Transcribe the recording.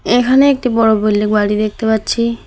এখানে একটি বড় বিল্ডিং বাড়ি দেখতে পাচ্ছি।